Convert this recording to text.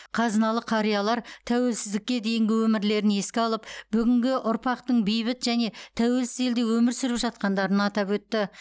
қазыналы қариялар тәуелсіздікке дейінгі өмірлерін еске алып бүгінгі ұрпақтың бейбіт және тәуелсіз елде өмір сүріп жатқандарын атап өтті